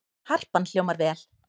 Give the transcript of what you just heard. Harpan hljómar vel